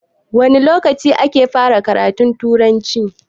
Wane lokaci ne ake fara karatun Turanci?